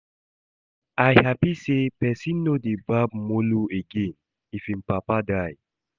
I happy say person no dey barb mola again if im papa die